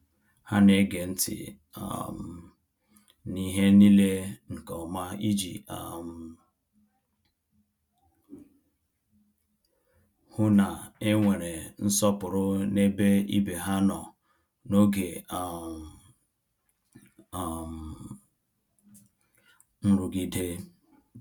Ha na-ege ntị um n’ihe niile nke ọma iji um hụ na e nwere nsọpụrụ n’ebe ibe ha nọ n’oge um um nrụgide.